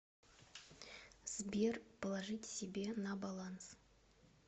сбер положить себе на баланс